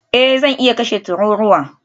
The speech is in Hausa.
Eh zan iya kashe tururuwa